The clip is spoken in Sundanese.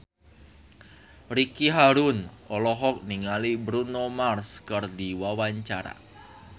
Ricky Harun olohok ningali Bruno Mars keur diwawancara